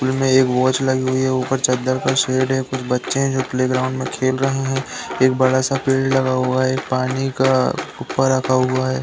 School में एक watch लगी हुई है। ऊपर चद्दर का शेड है। कुछ बच्चे हैं जो प्लेग्राउंड में खेल रहे हैं। एक बड़ा सा पेड़ लगा हुआ है। एक पानी का उपा रखा हुआ है।